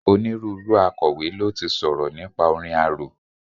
Onírúurú Akọ̀wé ló ti sọ̀rọ̀ nípa orin arò.